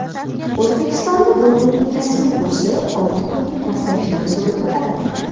O‘zbekistonda dollarning rasmiy kursi olti kunlik pastlashdan so‘ng ko‘tarildi.